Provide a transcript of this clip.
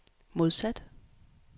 modsat